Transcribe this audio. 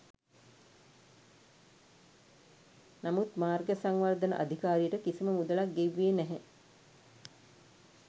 නමුත් මාර්ග සංවර්ධන අධිකාරියට කිසිම මුදලක් ගෙව්වේ නැහැ.